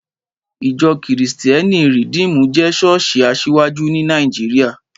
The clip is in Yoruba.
Ìjọ́ kìrìsítẹ́nì Rìdímù jẹ́ ṣọ́ọ̀ṣì asiwaju ní Nàìjíríà